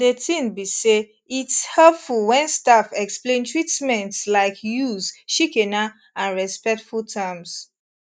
de tin be say its helpful wen staff explain treatments laik use shikena and respectful terms